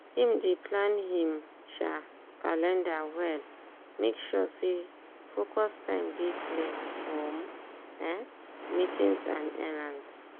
him dey plan him um calender well make sure say focus time dey clear from um meetings and errands.